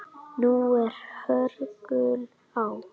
Nú er hörgull á